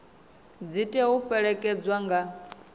dzi tea u fhelekedzwa nga